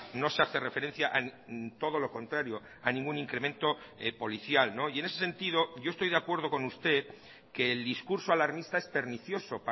no se hace referencia todo lo contrario a ningún incremento policial y en ese sentido yo estoy de acuerdo con usted que el discurso alarmista es pernicioso